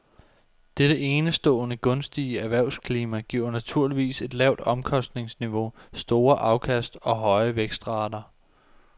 Dette enestående gunstige erhvervsklima giver naturligvis et lavt omkostningsniveau, store afkast og høje vækstrater.